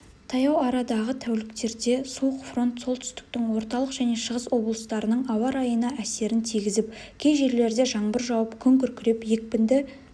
таяу арадағы тәуліктерде суық фронт солтүстіктің орталық және шығыс облыстарының ауа райына әсерін тигізіп кей жерлерде жаңбыр жауып күн күркіреп екпінді